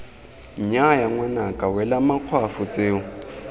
nnyaya ngwanaka wela makgwafo tseo